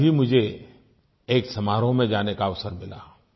कल ही मुझे एक समारोह में जाने का अवसर मिला